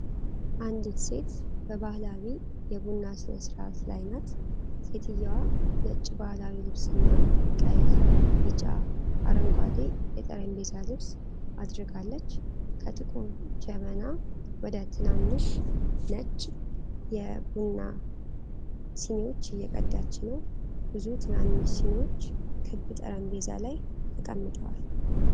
አንዲት ሴት በባህላዊ የቡና ሥነ ሥርዓት ላይ ናት። ሴትየዋ ነጭ ባህላዊ ልብስና ቀይ፣ ቢጫ፣ አረንጓዴ የጠረጴዛ ልብስ አድርጋለች። ከጥቁር ጀበና ወደ ትናንሽ ነጭ የቡና ሲኒዎች እየቀዳች ነው። ብዙ ትናንሽ ሲኒዎች ክብ ጠረጴዛ ላይ ተቀምጠዋል።